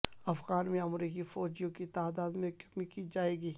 افغانستان میں امریکی فوجیوں کی تعداد میں کمی کی جائے گی